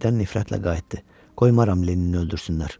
Birdən nifrətlə qayıtdı: Qoymaram Lennini öldürsünlər.